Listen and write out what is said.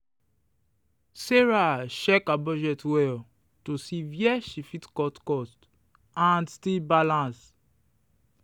sarah check her budget well to see where she fit cut cost and still balance.